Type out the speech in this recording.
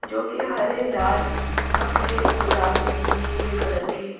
जो कि हरे लाल सफेद गुलाबी नीले कलर के--